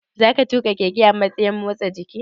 Zakana tuƙa keke a matsayin motsa jiki?